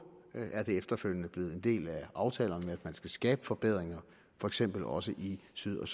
er det efterfølgende blevet en del af aftalerne at man skal skabe forbedringer for eksempel også i syd og